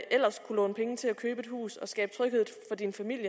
ellers kunne låne penge til at købe et hus og skabe tryghed for din familie